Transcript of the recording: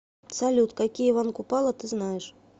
салют какие иван купала ты знаешь